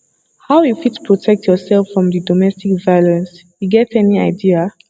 how you fit protect yourself from di domestic violence you get any idea